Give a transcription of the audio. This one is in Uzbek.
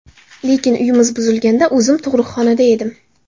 Lekin uyimiz buzilganda o‘zim tug‘ruqxonada edim.